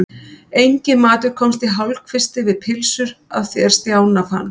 Enginn matur komst í hálfkvisti við pylsur að því er Stjána fannst.